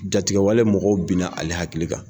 Jatigɛwale mɔgɔw bɛna ale hakili kan.